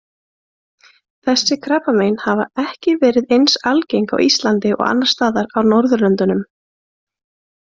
Þessi krabbamein hafa ekki verið eins algengt á Íslandi og annars staðar á Norðurlöndunum.